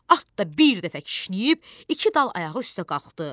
At da bir dəfə kişnəyib iki dal ayağı üstə qalxdı.